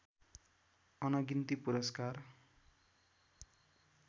अनगिन्ती पुरस्कार